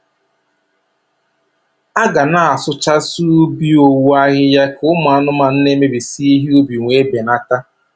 A ga na-asụchasị ubi owu ahịhịa, ka ụmụ anụmanụ na-emebisi ihe ubi wee benata.